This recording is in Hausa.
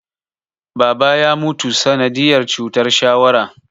Baba ya mutu sanadiyar cutar shawara